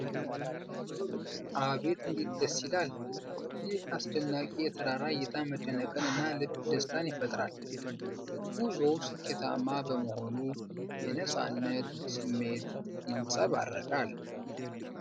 አቤት እንዴት ደስ ይላል! ይህ አስደናቂ የተራራ እይታ መደነቅን እና የልብ ደስታን ይፈጥራል። ጉዞው ስኬታማ በመሆኑ የነጻነት ስሜት ይንጸባረቃል ።